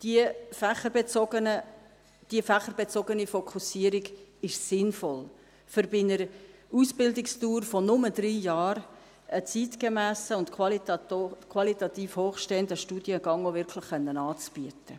Diese fächerbezogene Fokussierung ist sinnvoll, um bei einer Ausbildungsdauer von nur drei Jahren auch wirklich einen zeitgemässen und qualitativ hochstehenden Studiengang anbieten zu können.